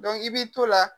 i b'i to la